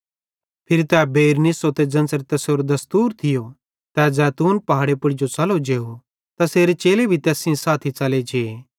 फिरी तै बेइर निस्सो ते ज़ेन्च़रे तैसेरो दस्तूर थियो तै ज़ैतून पहाड़े पुड़ जो च़लो जेव ते तैसेरे चेले भी तैस सेइं साथी च़ले जे